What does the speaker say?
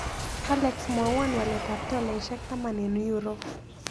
Alex mwawon waletap tolaisiek taman eng' euro